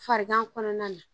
Farigan kɔnɔna na